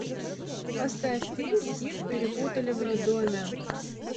поставь фильм их перепутали в роддоме